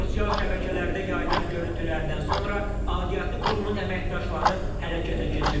Sosial şəbəkələrdə yayılan görüntülərdən sonra aidiyyəti qurumun əməkdaşları hərəkətə keçib.